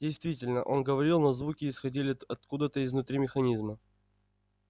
действительно он говорил но звуки исходили откуда-то изнутри механизма